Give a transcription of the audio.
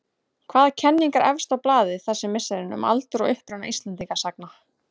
Hvaða kenning er efst á blaði þessi misserin um aldur og uppruna Íslendingasagna?